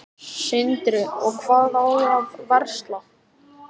Sindri: Og hvað á að versla?